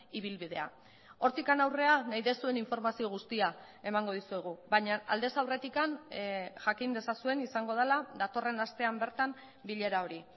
ibilbidea hortik aurrera nahi duzuen informazio guztia emango dizuegu baina aldez aurretik jakin dezazuen izango dela datorren astean bertan bilera hori